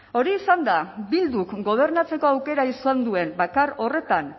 hori izan da bilduk gobernatzeko aukera izan duen bakar horretan